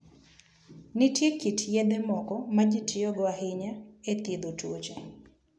Nitie kit yedhe moko ma ji tiyogo ahinya e thiedho tuoche.